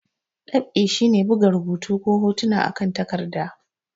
Dab'i shi ne buga rubutu ko hotuna akan takarɗa.